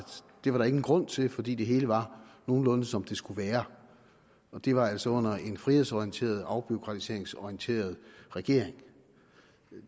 det var der ingen grund til fordi det hele var nogenlunde som det skulle være og det var altså under en frihedsorienteret afbureaukratiseringsorienteret regering